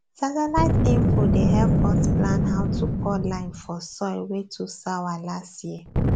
satellite info dey help us plan how to pour lime for soil wey too sour last year